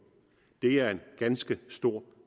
det er en ganske stor